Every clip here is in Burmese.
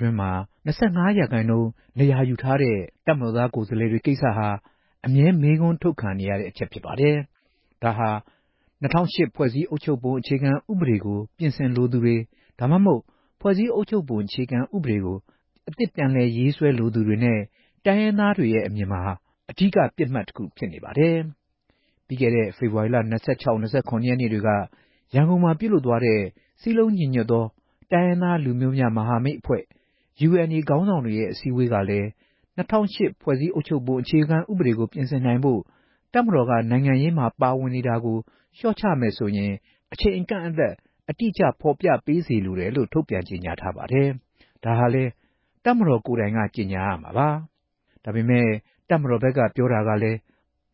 တွင်းမှာ ၂၅ ရာခိုင်နှုန်း နေရာယူထားတဲ့ တပ်မတော်သား ကိုယ်စားလှယ်တွေ ကိစ္စဟာ အမြဲ မေးခွန်းထုတ်ခံနေရတဲ့ အချက်ဖြစ်ပါတယ်။ ဒါဟာ ၂ဝဝ၈ ဖွဲ့စည်းပုံ အခြေခံဥပဒေကို ပြင်ဆင်လိုသူတွေ၊ ဒါမှမဟုတ် ဖွဲ့စည်းအုပ်ချုပ်ပုံအခြေခံဥပဒေကို အသစ်ပြင်ဆင်ရေးဆွဲလိုသူတွေနဲ့ တိုင်းရင်းသားတွေရဲ့အမြင်မှာ ဒီကိစ္စဟာ အဓိက ပစ်မှတ် တခုဖြစ်နေပါတယ်။ ပြီးခဲ့တဲ့ ဖေဖော်ဝါရီလ ၂၆ နဲ့ ၂၇ ရက် နေ့တွေက ရန်ကုန်မြို့မှာပြုလုပ်ခဲ့တဲ့ စည်းလုံးညီညွှတ်သော တိုင်းရင်းသားလူမျိုးများ မဟာမိတ်အဖွဲ့ (UNA ) ခေါင်းဆောင်တွေရဲ့ အစည်းအဝေးကလည်း ၂ဝဝ၈ ဖွဲ့စည်းပုံအခြေခံဥပဒေ ပြင်ဆင်နိုင်ဖို့ တပ်မတော်က နိုင်ငံရေးမှာ ပါဝင်နေတာကို လျှော့ချမယ်ဆိုရင် အချိန်အကန့်အသတ် အတိအကျ ဖော်ပြပေးစေလိုတယ်လို့ ထုတ်ပြန်ကြေညာထားပါတယ်။ ဒါဟာလည်း တပ်မတော် ကိုယ်တိုင်က ကြေညာရမှာပါ။ ဒါပေမယ့် တပ်မတော်ဘက်က ပြောတာကလည်း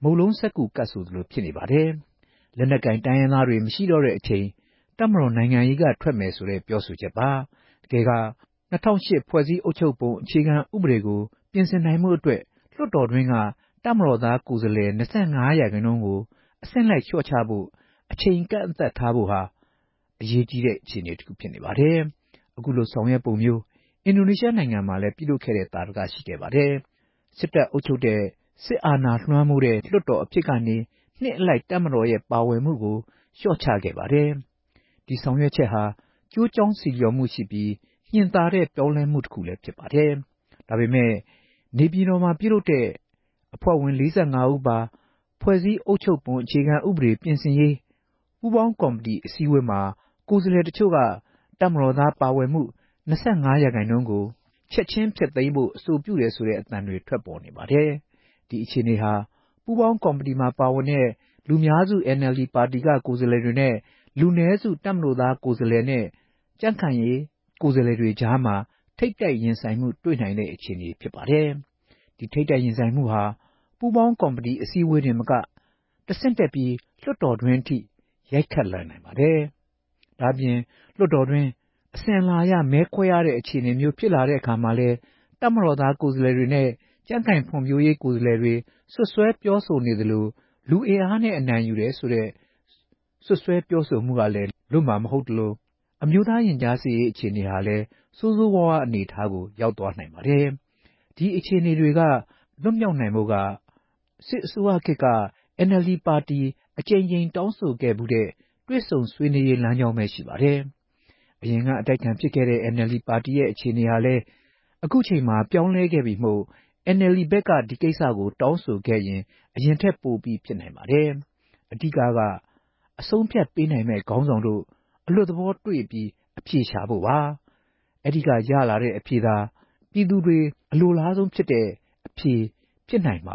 မုန့်လုံးစက္ကူကပ်ဆိုသလို ဖြစ်နေပါတယ်။ လက်နက်ကိုင်တိုင်းရင်းသားတွေ မရှိတော့တဲ့အချိန်မှာ တပ်မတော် နိုင်ငံရေးကထွက်မယ်ဆိုပြီး ပြောဆိုထားတာပါ။ တကယ်က ၂ဝဝ၈ ဖွဲ့စည်းအုပ်ချုပ်ပုံကို ပြင်ဆင်နိုင်ဖို့အတွက် လွှတ်တော်တွင်းက တပ်မတော်သားကိုယ်စားလှယ်၂၅ ရာခိုင်နှုန်းကို အဆင့်လိုက်လျှော့ချဖို့ အချိန်အကန့်အသတ်ထားဖို့ ကိစ္စဟာ အရေးကြီးတဲ့ အခြေအနေတခု ဖြစ်နေပါတယ်။ အခုလို ဆောင်ရွက်ပုံမျိုး အင်ဒိုနီးရှားနိုင်ငံမှာလည်း ပြုလုပ်ဖူးတဲ့ သာဓက ရှိခဲ့ပါတယ်။ အင်ဒိုနီးရှားနိုင်ငံမှာ စစ်တပ်အုပ်ချုပ်တဲ့၊ စစ်အာဏာ လွှမ်းမိုးတဲ့ လွှတ်တော်အဖြစ်ကနေ နှစ်အလိုက် တပ်မတော်ရဲ့ပါဝင်မှုတွေကို လျှော့ချခဲ့ပါတယ်။ ဒီဆောင်ရွက်ချက်ဟာ ကျိုးကြောင်းဆီလျော်မှုရှိပြီး ညင်သာတဲ့ ပြောင်းလဲမှုလည်း ဖြစ်ပါတယ်။ ဒါပေမယ့် လက်ရှိ နေပြည်တော်မှာပြုလုပ်နေတဲ့ အဖွဲ့ဝင် ၄၅ ဦးပါ ဖွဲ့စည်းအုပ်ချုပ်ပုံအခြေခံဥပဒေပြင်ဆင်ရေး ပူးပေါင်းကော်မတီ အစည်းအဝေးမှာ ကိုယ်စားလှယ်တချို့က တပ်မတော်သားပါဝင်မှု ၂၅ ရာခိုင်နှုန်းကို ချက်ခြင်းဖျက်သိမ်းဖို့ အဆိုပြုတယ်ဆိုတဲ့ အသံတွေ ထွက်ပေါ်နေပါတယ်။ ဒီအခြေအနေဟာ ပူးပေါင်းကော်မတီမှာ ပါဝင်တဲ့ လူများစု NLD ပါတီက ကိုယ်စားလှယ်တွေနဲ့ လူနည်းစု တပ်မတော်သားကိုယ်စားလှယ်တွေ၊ ကြံ့ခိုင်ဖွံဖြိုးရေးပါတီ ကိုယ်စားလှယ်တွေကြားမှာ ထိပ်တိုက်ရင်ဆိုင် တွေ့နိုင်တဲ့ အခြေအနေ ဖြစ်ပါတယ်။ ဒီထိပ်တိုက်ရင်ဆိုင်မှုဟာ ပူးပေါင်းကော်မတီ အစည်းအဝေးတင်မက တဆင့်တက်ပြီး လွှတ်တော်တွင်းအထိ ရိုက်ခတ် ရင်ဆိုင်လာရနိုင်ပါတယ်။ ဒါ့အပြင် လွှတ်တော်တွင်း အစဉ်အလာအရ မဲခွဲရတဲ့ အခြေအနေမျိုး ဖြစ်လာတဲ့အခါမှာလည်း တပ်မတော်သား ကိုယ်စားလှယ်တွေနဲ့ ကြံ့ခိုင်ဖွံ့ဖြိုးရေးပါတီ ကိုယ်စားလှယ်တွေ စွပ်စွဲပြောဆိုနေသလို “လူအင်အားနဲ့အနိုင်ယူတယ်” ဆိုတဲ့ပြောဆိုမှုမျိုးက လွတ်မှာမဟုတ်သလို၊ အမျိုးသားရင်ကြားစေ့ရေး အခြေအနေဟာလည်း ဆိုးဆိုးဝါးဝါး အခြေအနေကို ရောက်သွားနိုင်ပါတယ်။ ဒီအခြေအနေတွေက လွန်မြောက်နိုင်ဖို့ဆိုတာဟာ စစ်အစိုးရခေတ်မှာ NLD ပါတီဘက်က အကြိမ်ကြိမ် တောင်းဆိုခဲ့ဖူးတဲ့ တွေ့ဆုံဆွေးနွေးရေး လမ်းကြောင်းသာ ရှိပါတယ်။ အရင်က အတိုက်အခံဖြစ်ခဲ့တဲ့ NLD ပါတီရဲ့အခြေအနေဟာလည်း လက်ရှိအချိန်မှာ ပြောင်းလဲခဲ့ပြီမို့ NLD ဘက်က ဒီကိစ္စကို တောင်းဆိုခဲ့ရင် အရင်ထက်ပိုပြီး ဖြစ်နိုင်ခြေ ရှိနေပါတယ်။ အဓိကကတော့ အဆုံးအဖြတ်ပေးနိုင်မယ့် ခေါင်းဆောင်တွေ အလွတ်သဘောတွေ့ဆုံပြီး အဖြေရှာကြဖို့ပါပါ။ အဲဒီတွေ့ဆုံမှုက ရလာတဲ့အဖြေကသာ ပြည်သူတွေ အလိုလားဆုံး အဖြေ ဖြစ်နိုင်မ